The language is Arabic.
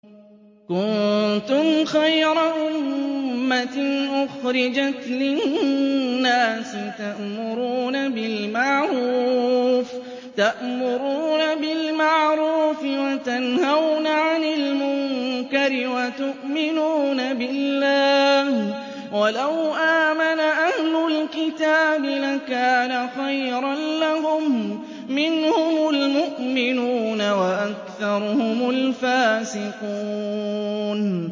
كُنتُمْ خَيْرَ أُمَّةٍ أُخْرِجَتْ لِلنَّاسِ تَأْمُرُونَ بِالْمَعْرُوفِ وَتَنْهَوْنَ عَنِ الْمُنكَرِ وَتُؤْمِنُونَ بِاللَّهِ ۗ وَلَوْ آمَنَ أَهْلُ الْكِتَابِ لَكَانَ خَيْرًا لَّهُم ۚ مِّنْهُمُ الْمُؤْمِنُونَ وَأَكْثَرُهُمُ الْفَاسِقُونَ